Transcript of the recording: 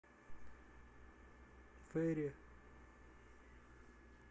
фейри